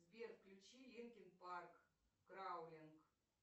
сбер включи линкин парк краулинг